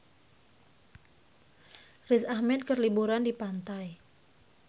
Riz Ahmed keur liburan di pantai